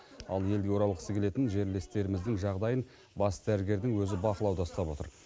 ал елге оралғысы келетін жерлестеріміздің жағдайын бас дәрігердің өзі бақылауда ұстап отыр